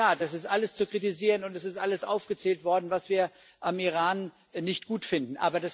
In der Tat, das ist alles zu kritisieren, und es ist alles aufgezählt worden, was wir am Iran nicht gut finden.